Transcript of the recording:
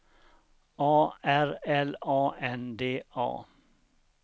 A R L A N D A